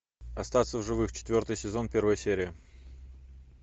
остаться в живых четвертый сезон первая серия